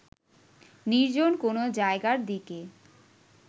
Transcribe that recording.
নির্জন কোনো জায়গার দিকে